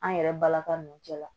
An yɛrɛ balaka nunnu cɛla